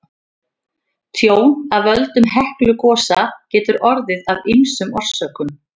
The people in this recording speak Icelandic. Tjón af völdum Heklugosa getur orðið af ýmsum orsökum.